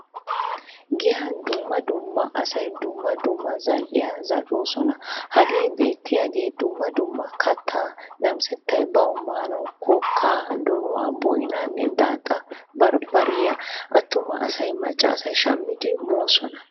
Giyan dumma dumma asay dumma dumma zal"iyaa zal"osona. Hagee beetiyagee dumma dumma katta namissettay bawu maanawu kokka, donuwaa, boynane daaxxa barbariya. Attuma asay macca asay shammidi moosona.